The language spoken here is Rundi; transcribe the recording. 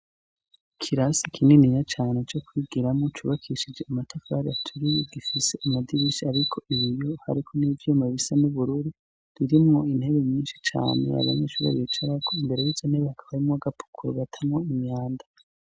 kirasi kinini ya cyane cyo kwigiramo cubakishije amatafar yaturiy gifise amadibishi ariko iyo hariko nibyomebisa n'ubururi durimo intebe minshi cane abanyeshuri ayicara ko imbere yitso nibe akabayemo wagapukur gatamo imyanda